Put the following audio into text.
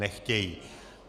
Nechtějí.